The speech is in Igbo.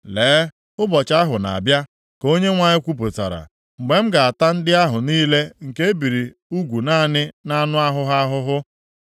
“Lee, ụbọchị ahụ na-abịa,” ka Onyenwe anyị kwupụtara, “mgbe m ga-ata ndị ahụ niile nke e biri ugwu naanị nʼanụ ahụ ha ahụhụ.